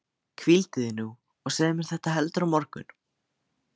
Hvíldu þig nú og segðu mér þetta heldur á morgun.